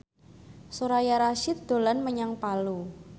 Soraya Rasyid dolan menyang Palu